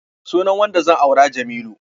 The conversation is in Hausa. Sunan wanda zan aura Jamilu.